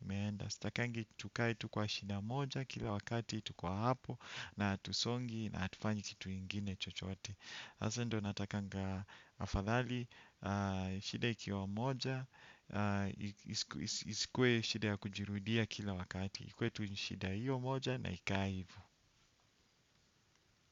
imeenda. Sitakangi tukae tu kwa shida moja kila wakati tuko hapo na hatusongi na hatufanyi kitu ingine chochote sasa ndio inatakanga afadhali, shida ikiwa moja, isikuwe shida ya kujirudia kila wakati. Ikuwe tu ni shida hiyo moja na ikae hivo.